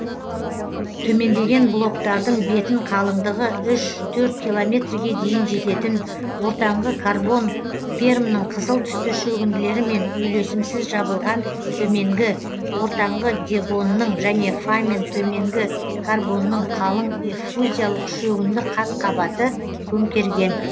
төмендеген блоктардың бетін қалыңдығы үш төрт километрге дейін жететін ортаңғы карбон пермнің қызыл түсті шөгінділерімен үйлесімсіз жабылған төменгі ортаңғы девонның және фамен төменгі карбонның қалың эффузиялық шөгінді қатқабаты көмкерген